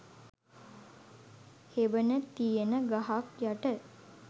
හෙවන තියෙන ගහක් යට